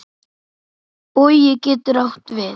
Bogi getur átt við